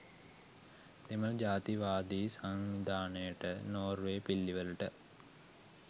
දෙමළ ජාතිවාදී සන්ධානයට නෝර්වේ පිල්ලිවලට